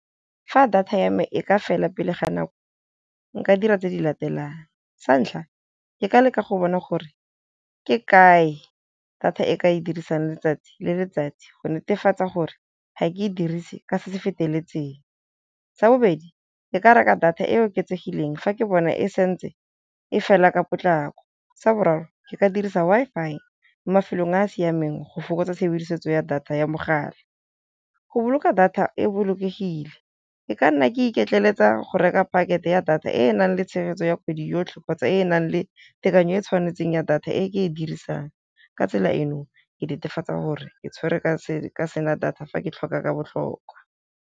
Fa data ya me e ka fela pele ga nako nka dira tse di latelang, sa ntlha ke ka leka go bona gore ke kae data e ke e dirisang letsatsi le letsatsi go netefatsa gore ga ke e dirise ka se se feteletseng, sa bobedi ke ka reka data e oketsegileng fa ke bona e santse e fela ka potlako, sa boraro ke ka dirisa Wi-Fi mo mafelong a a siameng go fokotsa tshebedisetso ya data ya mogala. Go boloka data e bolokegile e ka nna ke iketlele ka go reka pakete ya data e enang le tshegetso ya kgwedi yotlhe, kgotsa e enang le tekanyo e tshwanetseng ya data e ke e dirisang ka tsela eno, ke netefatsa gore ke tshwere ka sena data fa ke tlhoka ka botlhokwa.